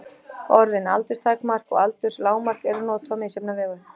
Orðin aldurstakmark og aldurslágmark eru notuð á misjafna vegu.